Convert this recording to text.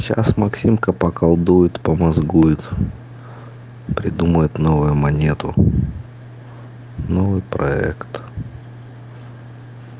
сейчас максимка поколдует помозгует придумает новую монету новый проект